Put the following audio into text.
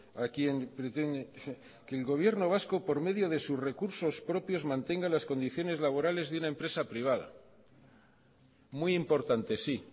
a quién pretende que el gobierno vasco por medio de sus recursos propios mantenga las condiciones laborales de una empresa privada muy importante sí